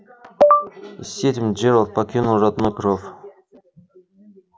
и с этим джералд покинул родной кров